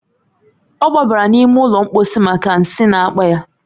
O gbabara n'ime ụlọ mposi maka nsi n’akpa ya